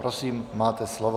Prosím, máte slovo.